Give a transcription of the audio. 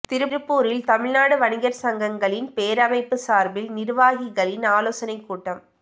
திருப்பூரில் தமிழ்நாடு வணிகா் சங்கங்களின் பேரமைப்பு சாா்பில் நிா்வாகிகளின் ஆலோசனைக் கூட்டம்